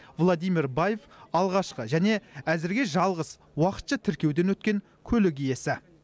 владимир баев алғашқы және әзірге жалғыз уақытша тіркеуден өткен көлік иесі